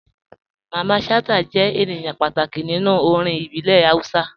Mamman Shata jẹ̀ ènìyàn pàtàkì nínú orin ìbílẹ̀ Hausa.